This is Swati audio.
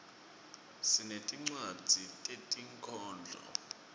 sinetincwadzi tetinkhondlo